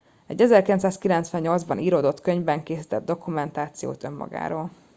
egy 1998 ban íródott könyvben készített dokumentációt önmagáról